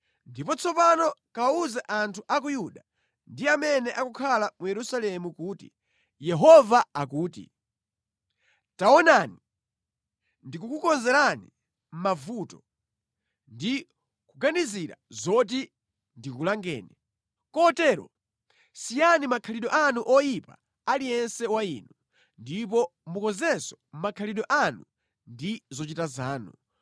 “Ndipo tsopano kawawuze anthu a ku Yuda ndi amene akukhala mu Yerusalemu kuti, ‘Yehova akuti, Taonani! Ndikukukonzerani mavuto, ndi kuganizira zoti ndikulangeni. Kotero siyani makhalidwe anu oyipa aliyense wa inu, ndipo mukonzenso makhalidwe anu ndi zochita zanu.’